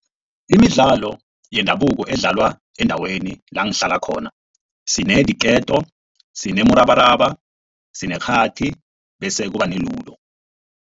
Imidlalo yendabuko edlalwa endaweni langihlala khona sinediketo, sinemurabaraba sinekghathi bese kuba ne-ludo.